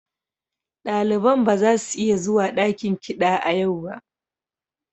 Daliban ba za su iya zuwa dakin kiɗa a yau ba.